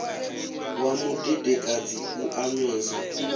wa mudedekadzi u a nwesa